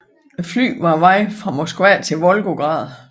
Flyet fra på vej fra Moskva til Volgograd